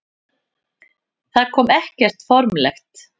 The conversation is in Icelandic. Það kom ekkert formlegt.